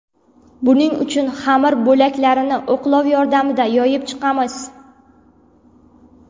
Buning uchun xamir bo‘laklarini o‘qlov yordamida yoyib chiqamiz.